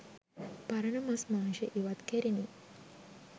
පරණ මස් මාංශ ඉවත් කෙරිණි.